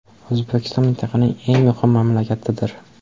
O‘zbekiston mintaqaning eng muhim mamlakatidir.